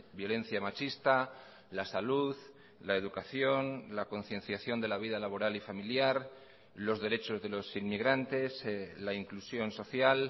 violencia machista la salud la educación la concienciación de la vida laboral y familiar los derechos de los inmigrantes la inclusión social